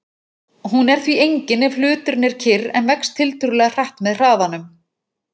Hún er því engin ef hluturinn er kyrr en vex tiltölulega hratt með hraðanum.